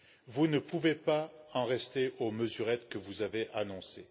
Vous ne pouvez pas en rester aux mesurettes que vous avez annoncées.